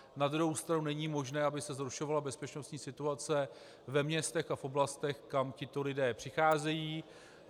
Na druhou stranu není možné, aby se zhoršovala bezpečnostní situace ve městech a v oblastech, kam tito lidé přicházejí.